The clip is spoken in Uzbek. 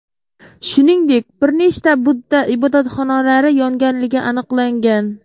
Shuningdek, bir nechta budda ibodatxonalari yonganligi aniqlangan.